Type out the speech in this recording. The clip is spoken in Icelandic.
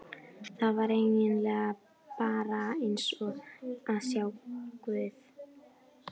Það var eigin lega bara eins og að sjá guð.